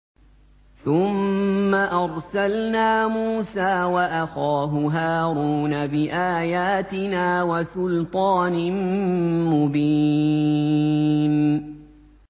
ثُمَّ أَرْسَلْنَا مُوسَىٰ وَأَخَاهُ هَارُونَ بِآيَاتِنَا وَسُلْطَانٍ مُّبِينٍ